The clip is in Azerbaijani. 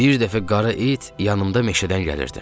Bir dəfə qara it yanımda meşədən gəlirdim.